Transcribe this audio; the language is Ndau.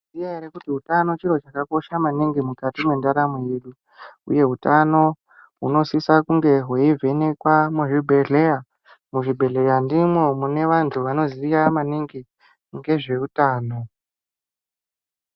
Ngenyaya yekuti utano chiro chakakosha maningi mukati mwendaramo yedu. Uye utano hunosisa kunga hweivhenekwa muzvibhedhleya. Muzvibhedhleya ndimwo mune anthu anoziya maningi ngezveutano.